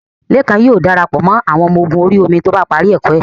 Lékan yóò dara pọ̀ mọ́ àwọn ọmọ ogun orí omi tí ó bá parí ẹ̀kọ́ ẹ́